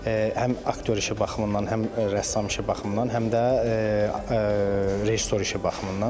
Həm aktyor işi baxımından, həm rəssam işi baxımından, həm də rejissor işi baxımından.